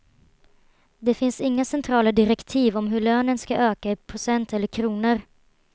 Det finns inga centrala direktiv om hur lönen skall öka i procent eller kronor.